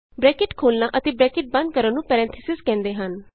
bracket ਖੋਲਨਾ ਅਤੇ bracket ਬੰਦ ਕਰਨ ਨੂੰ ਪੈਰੇਨਥੀਸਿਜ਼ ਕਹਿੰਦੇ ਹਨ